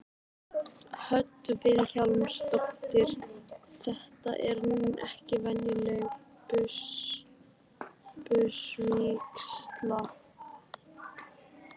Hödd Vilhjálmsdóttir: Þetta er ekki venjuleg busavígsla?